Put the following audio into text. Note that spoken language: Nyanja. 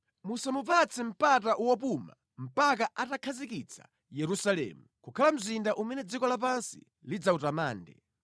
Musamupatse mpata wopuma mpaka atakhazikitsa Yerusalemu kukhala mzinda umene dziko lapansi lidzawutamande.